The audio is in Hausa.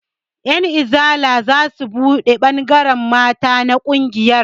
Ƴan izala zasu buɗe ɓangaren mata na ƙungiyar